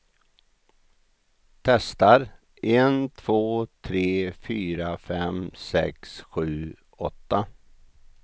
Testar en två tre fyra fem sex sju åtta.